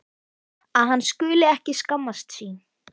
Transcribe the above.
Að hann skuli ekki skammast sín.